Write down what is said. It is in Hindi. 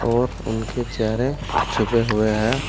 और उनके चेहरे छुपे हुए हैं।